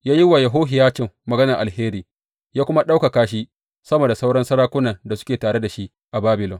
Ya yi wa Yehohiyacin maganar alheri, ya kuma ɗaukaka shi sama da sauran sarakunan da suke tare da shi a Babilon.